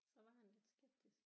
Så var han lidt skeptisk